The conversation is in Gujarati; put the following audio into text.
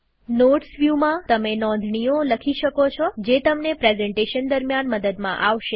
નોટ્સ વ્યુમાંતમે નોંધણીઓ લખી શકો છો જે તમને પ્રેઝન્ટેશન દરમ્યાન મદદમાં આવશે